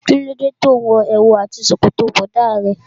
Kí ló dé tí òun wo èwù àti ṣòkòtò bọ̀dá rẹ.